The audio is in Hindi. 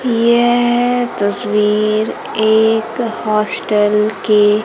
यह तस्वीर एक हॉस्टल के--